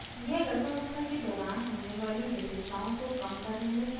यह गर्भावस्था के दौरान होने वाली जटिलताओं को कम करने में सहायक होगी